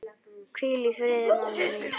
Hvíl í friði mamma mín.